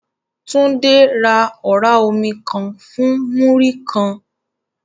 Tunde ra ọ̀rá omi kan fún Múrí-kan